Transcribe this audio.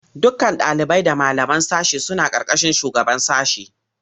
Dukkan ɗalibai da malaman sashe suna ƙarƙashin shugaban sashe.